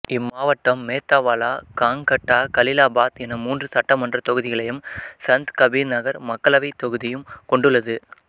இம்மாவட்டம் மேத்தாவாலா காங்கட்டா கலீலாபாத் என மூன்று சட்டமன்ற தொகுதிகளையும் சந்த் கபீர் நகர் மக்களவைத் தொகுதியும் கொண்டுள்ளது